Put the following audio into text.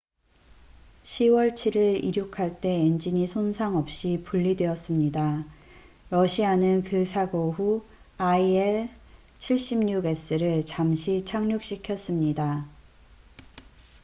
10월 7일 이륙할 때 엔진이 손상 없이 분리되었습니다. 러시아는 그 사고 후 il-76s를 잠시 착륙시켰습니다